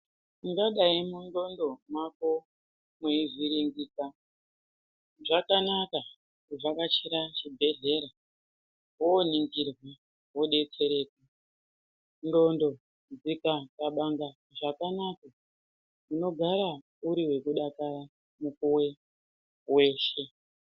Ungadai mundxondo mwako weivhiringika zvakanaka kuvhakachira chibhedhleya wooningirwe wodetsereka, ndxondo dzikaxabanga zvakanaka unogara uri wekudakara mukuwe weshe.